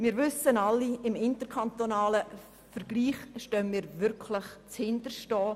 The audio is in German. Wir wissen alle, dass wir im interkantonalen Vergleich weit hinten stehen.